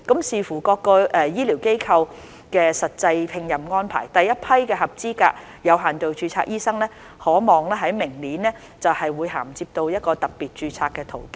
視乎各醫療機構的實際聘任安排，第一批的合資格有限度註冊醫生可望在明年銜接到特別註冊的途徑。